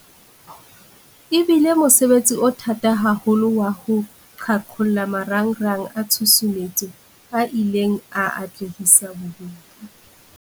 E bile mosebetsi o thata haholo wa ho qhaqholla marangrang a tshusumetso a ileng a atlehisa bobodu.